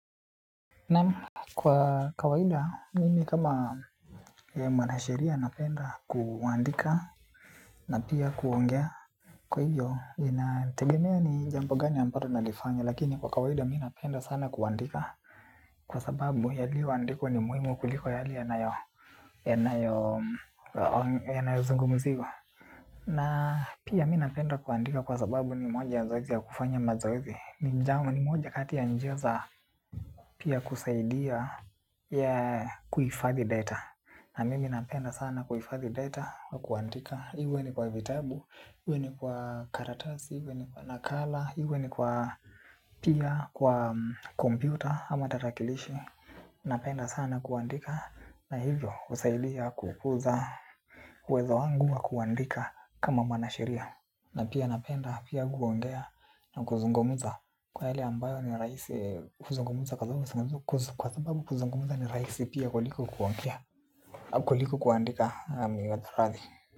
Naamu kwa kawaida mimi kama mwanashiria napenda kuandika na pia kuongea. Kwa hiyo inategemea ni jambo gani ambalo nalifanya lakini kwa kawaida mi napenda sana kuandika. Kwa sababu ya lio andiko ni muhimu kuliko ya lio ya na yo ya na yo ya nayo zungumziwa. Na pia mimi napenda kuandika kwa sababu ni moja ya zoezi kufanya mazoezi. Ni moja kati ya njia za pia kusaidia ya kuhifadhi data. Na mimi napenda sana kuhifadhi data wa kuandika, iwe ni kwa vitabu, iwe ni kwa karatasi, iwe ni kwa nakala, iwe ni kwa pia kwa kompyuta ama tarakilishi. Napenda sana kuandika na hivyo husaidia kukuza uwezo wangu wa kuandika kama mwana sheria. Na pia napenda, pia kuongea na kuzungumza. Kwa yale ambayo ni raisi kuzungumza kwa sababu kuzungumza ni raisi pia kuliko kuandika niwie radhi.